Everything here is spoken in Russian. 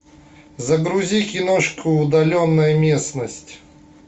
загрузи киношку удаленная местность